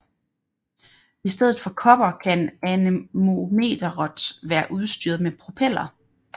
I stedet for kopper kan anemometeret være udstyret med propeller